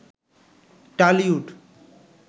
Tollywood